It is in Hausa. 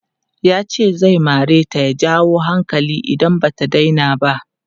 Yace zai mareta ya jawo hankali idan bata daina ba.